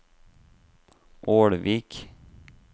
Ålvik